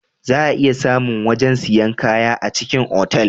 Za a iya samu wajen sayan kaya a cikin otal